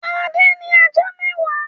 Adé ní ajá mẹ́wàá.